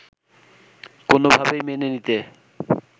কোনোভাবেই মেনে নিতে